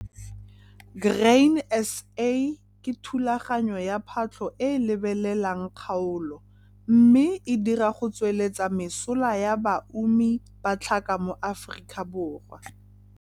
Grain SA ke thulaganyo ya phatlho e e lebelelang kgaolo mme e dira go tsweleletsa mesola ya baumi ba tlhaka mo Afrikaborwa.